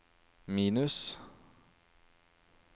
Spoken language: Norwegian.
minus